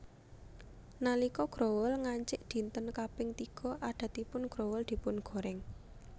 Nalika growol ngancik dinten kaping tiga adatipun growol dipungorèng